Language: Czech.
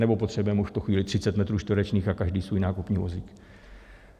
Nebo potřebujeme už v tu chvíli 30 metrů čtverečních a každý svůj nákupní vozík?